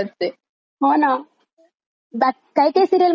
त्यात काही काही सीरिअल मध्ये खूप चांगल्या गोष्टी पण असतात बरका घेण्यासारख्या.